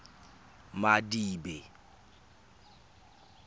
madibe